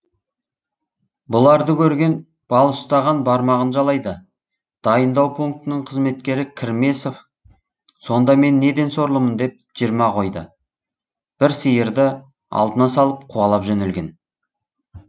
бұларды көрген бал ұстаған бармағын жалайды дайындау пунктінің қызметкері кірмесов сонда мен неден сорлымын деп жиырма қойды бір сиырды алдына салып қуалап жөнелген